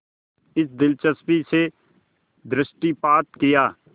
इस दिलचस्पी से दृष्टिपात किया